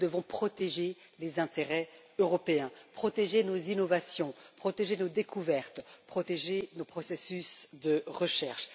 Nous devons protéger les intérêts européens, protéger nos innovations, protéger nos découvertes, protéger nos processus de recherche.